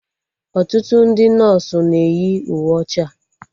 Ọtụtụ ndị nọsụ na-eyi uwe ọcha